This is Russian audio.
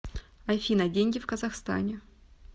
афина деньги в казахстане